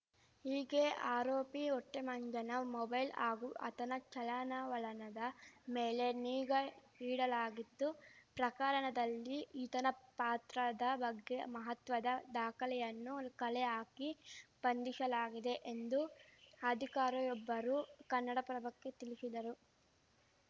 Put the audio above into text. ಹೀಗೆ ಆರೋಪಿ ಹೊಟ್ಟೆಮಂಜನ ಮೊಬೈಲ್‌ ಹಾಗೂ ಆತನ ಚಲನವಲನದ ಮೇಲೆ ನಿಗಾ ಇಡಲಾಗಿತ್ತು ಪ್ರಕರಣದಲ್ಲಿ ಈತನ ಪಾತ್ರದ ಬಗ್ಗೆ ಮಹತ್ವದ ದಾಖಲೆಯನ್ನು ಕಲೆ ಹಾಕಿ ಬಂಧಿಶಲಾಗಿದೆ ಎಂದು ಅಧಿಕಾರಿಯೊಬ್ಬರು ಕನ್ನಡಪ್ರಭಕ್ಕೆ ತಿಳಿಶಿದರು